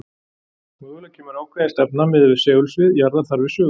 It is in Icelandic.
mögulega kemur ákveðin stefna miðað við segulsvið jarðar þar við sögu